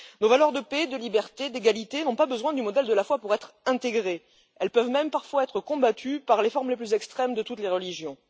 Nos valeurs de paix, de liberté, d'égalité, n'ont pas besoin du modèle de la foi pour être intégrées. Elles peuvent même parfois être combattues par les formes les plus extrêmes de toutes les religions.